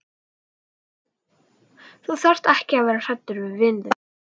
Þú þarft ekki að vera hræddur við vin þinn.